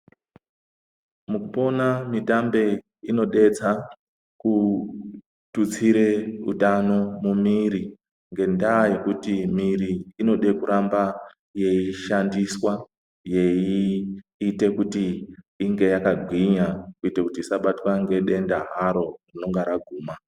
Mukupona mitambe inodetsa kuthutsire utano mumiri, ngendaa yekuti miri inode kuramba yeishandiswa, yeiite kuti inge yakagwinya kuite kuti isabatwa ngedenda haro rinenge raguma.